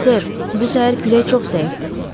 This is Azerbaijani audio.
Sır, bu səhər külək çox zəifdir.